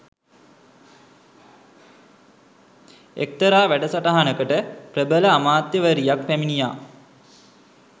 එක්තරා වැඩසටහනකට ප්‍රබල අමාත්‍යවරියක් පැමිණියා